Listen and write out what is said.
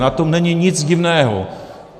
Na tom není nic divného.